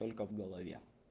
только в голове